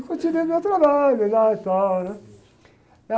E continuei o meu trabalho lá e tal. Né?